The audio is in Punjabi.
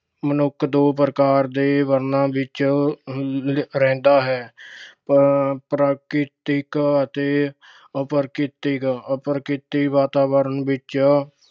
ਮਨੁੱਖ ਦੋ ਪ੍ਰਕਾਰ ਦੇ ਵਰਣਾਂ ਵਿੱਚ ਅਹ ਰਹਿੰਦਾ ਹੈ- ਅਹ ਪ੍ਰਕ੍ਰਿਤਕ ਅਤੇ ਅਪ੍ਰਕ੍ਰਿਤਕ। ਪ੍ਰਕ੍ਰਿਤਕ ਵਾਤਾਵਰਣ ਵਿੱਚ